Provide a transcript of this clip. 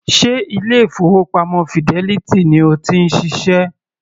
Ṣe ilé-ìfowópamọ́ Fidelity ni o ti ń ṣiṣẹ́?